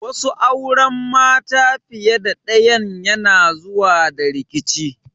Wasu auren mata fiye da ɗayan yana zuwa da rikici.